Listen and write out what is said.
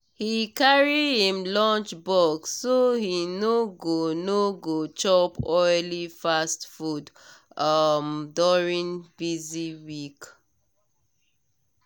he carry him lunchbox so he no go no go chop oily fast food um during busy week.